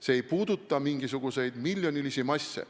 See ei puuduta mingisuguseid miljonilisi masse.